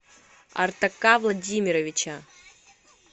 артака владимировича